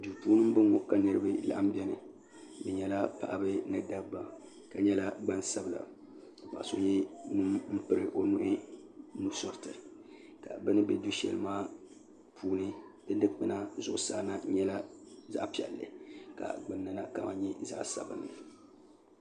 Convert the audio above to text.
do n bɔŋɔ ka niriba lagim bɛni be nyɛla paɣ' ba ni da ba ka nyɛla gbansabila ka paɣ' so nyɛ ŋɔ piɛli o nuhi nusuritɛ ka be ni bɛ do shɛli maa puuni dikpɛna maa nyɛ zaɣ' piɛli ka di nɛla zaɣ' sabinli